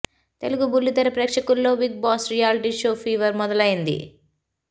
తెలుగు బుల్లి తెర ప్రేక్షకుల్లో బిగ్బాస్ రియాలిటీ షో ఫీవర్ మొదలైంది